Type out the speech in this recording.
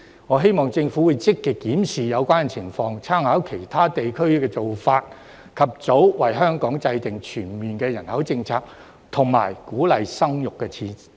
我希望政府會積極檢視有關的情況，參考其他地區的做法，及早為香港制訂全面的人口政策和鼓勵生育的措施。